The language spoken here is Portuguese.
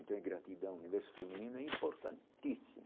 Então é gratidão, o universo feminino é importantíssimo.